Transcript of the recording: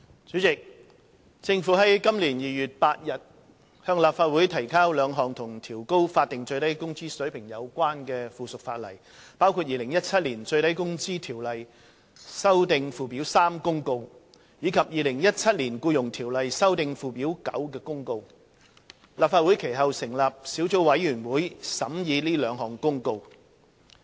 主席，政府於今年2月8日向立法會提交了兩項與調高法定最低工資水平有關的附屬法例，包括《2017年最低工資條例公告》及《2017年僱傭條例公告》。立法會其後成立小組委員會審議這兩項公告。